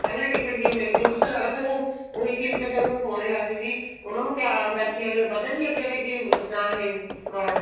ਪਹਿਲਾਂ ticket ਕਿਵੇਂ ਮਿਲ ਗਈ ਉਹੀ ਤਾਂ ਗੱਲ ਆ ਫ਼ੇਰ ਉਹ ਉਹੀ ਚੀਜ਼ ਤਾਂ ਫ਼ੇਰ ਹੁਣ ਹੋ ਰਿਹਾ ਵੀ ਉਹਨਾ ਨੂੰ ਕਿਆ embassy ਵਾਲਿਆਂ ਨੂੰ ਪਤਾ ਨਹੀਂ ਲੱਗਿਆ ਕੀ ਇੱਦਾਂ ਇਹ fraud ਏ